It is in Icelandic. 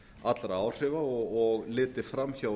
allra áhrifa og litið fram hjá